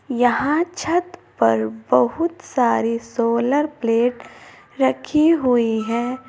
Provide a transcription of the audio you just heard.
यहां छत पर बहुत सारी सोलर प्लेट रखी हुई है।